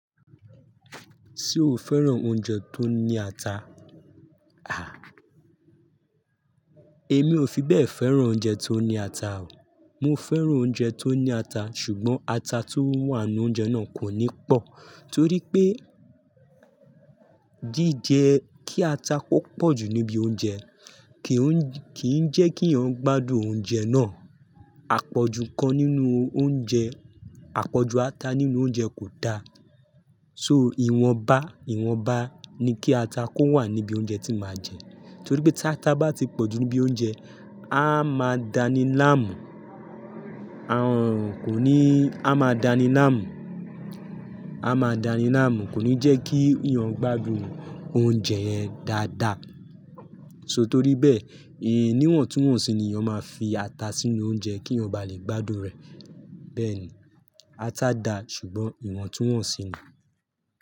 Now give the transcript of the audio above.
Ṣé o fẹ́ràn oúnjẹ tó ní ata? Àh. Èmi ò fi bẹ́ẹ̀ fẹ́ràn oúnjẹ tó ní ata o. Mo fẹ́ràn oúnjẹ tó ní ata ṣùgbọ́n ata tó wà nínú oúnjẹ náà kò ní pọ̀. Torí pé, jíje kí ata kó pọ̀jù níbi oúnjẹ kìí jẹ́ kí èèyàn gbádùn oúnjẹ náà. Àpọ̀jù kan nínú oúnjẹ, àpọ̀jù ata nínú oúnjẹ kò da. So ìwọ̀nba, ìwọ̀nba ni kí ata kó wà níbi oúnjẹ tí màá jẹ. Torí pé táta bá ti pọ̀jù níbi oúnjẹ, á máa dani láàmú. À n kò ní, á máa dani láàmú. A máa dani láàmú, kò ní jẹ́ kí èèyàn gbádùn oúnjẹ yẹn dáadáa. So torí bẹ́ẹ̀, níwọ̀ntúwọ̀nsì ni èèyàn máa fi ata sínú oúnjẹ kí èèyàn bá lè gbádùn rẹ̀. Bẹ́ẹ̀ ni. Ata dà ṣùgbọ́n ìwọ̀ntúwọ̀nsì ni.